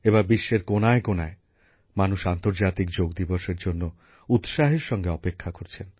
এবার বিশ্বের কোনায় কোনায় মানুষ আন্তর্জাতিক যোগ দিবসের জন্য উৎসাহের সঙ্গে অপেক্ষা করছেন